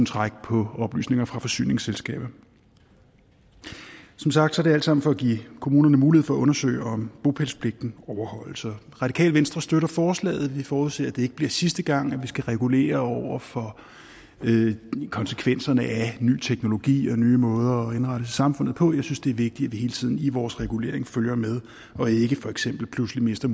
trække på oplysninger fra forsyningsselskaber som sagt er det alt sammen for at give kommunerne mulighed for at undersøge om bopælspligten overholdes radikale venstre støtter forslaget vi forudser at det ikke bliver sidste gang at vi skal regulere over for konsekvenserne af ny teknologi og nye måder at indrette samfundet på jeg synes det er vigtigt hele tiden i vores regulering følger med og ikke for eksempel pludselig mister